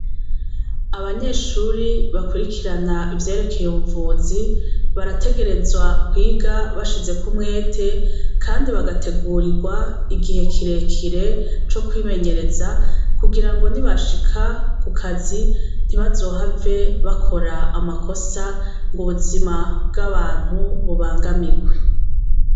Abanyeshure bakurikirana ivyerekeye ubuvuzi barategerezwa kwiga bashizeko umwete kandi bagategurigwa igihe kire kire co kwimenyereza kugira ngo ni bashika ku kazi ntibazohave bakora amakosa ubuzima bw' abantu bubangamigwe.